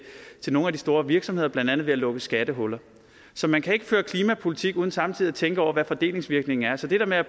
nogle af de store virksomheder blandt andet ved at lukke skattehuller så man kan ikke føre klimapolitik uden samtidig at tænke over hvad fordelingsvirkningen er så til det med at